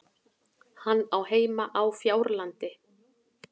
Hann á heima á Fjárlandi.